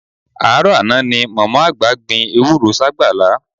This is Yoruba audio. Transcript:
Àárọ̀ àná ni mọ̀mọ́ àgbà gbin ewúró ságbàlá